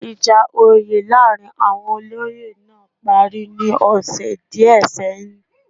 Ìjà oyè láàrin àwon olóyè náà parí ní ọ̀sẹ̀ díẹ̀ sẹ́yìn